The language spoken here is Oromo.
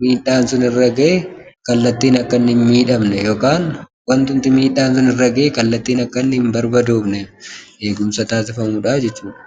miidhaan sun irra ga'e kallattiin akka hin miidhamne yookaan wantumti miidhaan sun irra ga'e kallattiin akka hin barbadoofne eegumsa taasifamudha jechuudha.